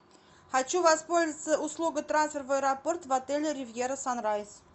хочу воспользоваться услугой трансфер в аэропорт в отеле ривьера санрайз